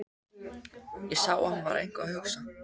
Ég sá að hann var eitthvað að hugsa.